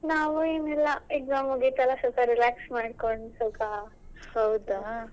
ನಾವ್ ಏನಿಲ್ಲ exams ಎಲ್ಲ ಮುಗೀತಲ್ಲ ಸ್ವಲ್ಪ relax ಮಾಡ್ಕೊಂಡ್ ಸ್ವಲ್ಪ.